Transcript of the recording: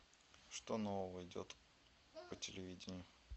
что нового идет по телевидению